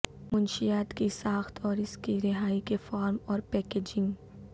منشیات کی ساخت اور اس کی رہائی کے فارم اور پیکیجنگ